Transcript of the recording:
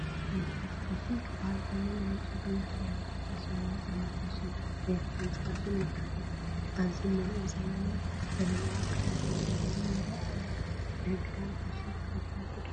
ፋሽን፡- ፋሽን ክባሃል ከሎ ናይ ጨጉሪ ኣሰራርሓ ፋሽን፣ ናይ ጫማ ፋሽን፣ ናይ ክዳውንቲ ፋሽንን የካትት፡፡ ኣብዚ ንሪኦ ዘለና ዘመናዊ ኣካደድና ዲዛይን ይረአ ኣሎ፡፡ ናይ ክዳን ፋሽን ተኸተልቲ ዲኹም?